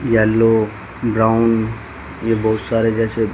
yellow brown ये बहुत सारे जैसे--